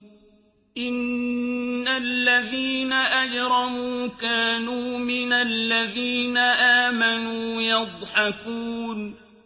إِنَّ الَّذِينَ أَجْرَمُوا كَانُوا مِنَ الَّذِينَ آمَنُوا يَضْحَكُونَ